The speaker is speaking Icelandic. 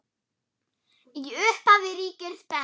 Í upphafi ríkir spenna.